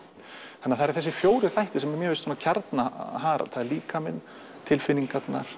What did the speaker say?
það eru fjórir þættir sem mér finnst kjarna Harald það er líkaminn tilfinningarnar